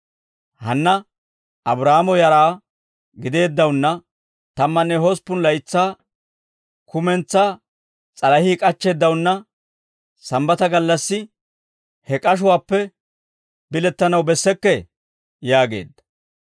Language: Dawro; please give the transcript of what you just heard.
Hanna Abraahaamo yaraa gideeddawunna, tammanne hosppun laytsaa kumentsaa s'alahii k'achcheeddawunna sambbata gallassi he k'ashuwaappe bilettanaw bessekkee?» yaageedda.